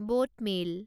boat mail